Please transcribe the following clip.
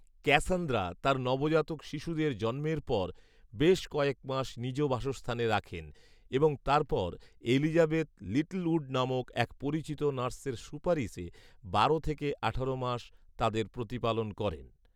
Cassandra তার নবজাতক শিশুদের জন্মের পর বেশ কয়েকমাস নিজ বাসস্থানে রাখেন এবং তারপর এলিজাবেথ লিটলঊড নামক এক পরিচিত নার্সের সুপারিশে বারো থেকে আঠারো মাস তাদের প্রতিপালন করেন